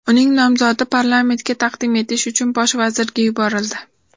Uning nomzodi parlamentga taqdim etish uchun bosh vazirga yuborildi.